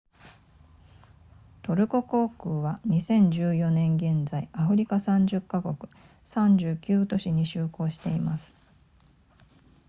トルコ航空は2014年現在アフリカ30カ国39都市に就航しています